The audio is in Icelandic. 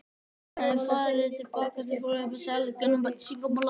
Að hún hefði verið að fara til foreldra sinna?